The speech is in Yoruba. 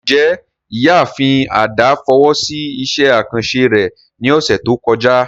Njẹ Iyaafin Ada fowo si iṣẹ akanṣe rẹ ni ọsẹ to kọja?